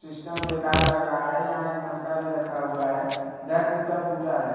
System बेकार लग रहा है यहां एक मटका भी रखा हुआ है घर टूटा फूटा है।